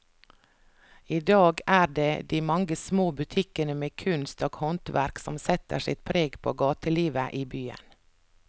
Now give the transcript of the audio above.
I dag er det de mange små butikkene med kunst og håndverk som setter sitt preg på gatelivet i byen.